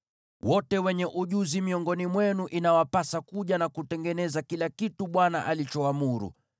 “Wote wenye ujuzi miongoni mwenu inawapasa kuja na kutengeneza kila kitu Bwana alichoamuru: